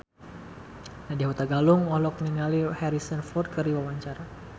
Nadya Hutagalung olohok ningali Harrison Ford keur diwawancara